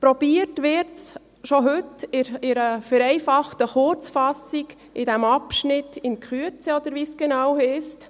Versucht wird es bereits heute mit einer vereinfachenden Kurzfassung unter dem Abschnitt «In Kürze», oder wie dies genau heisst.